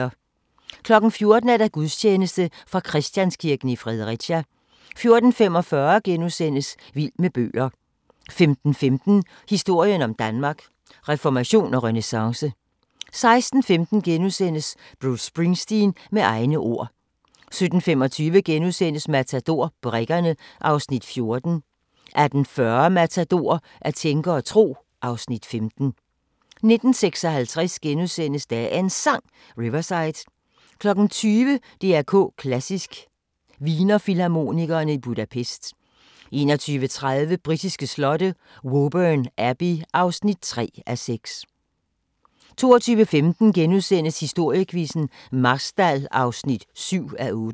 14:00: Gudstjeneste fra Christianskirken, Fredericia 14:45: Vild med bøger * 15:15: Historien om Danmark: Reformation og renæssance 16:15: Bruce Springsteen – med egne ord * 17:25: Matador – Brikkerne (Afs. 14)* 18:40: Matador - at tænke og tro (Afs. 15) 19:56: Dagens Sang: Riverside * 20:00: DR K Klassisk: Wiener Filharmonikerne i Budapest 21:30: Britiske slotte: Woburn Abbey (3:6) 22:15: Historiequizzen: Marstal (7:8)*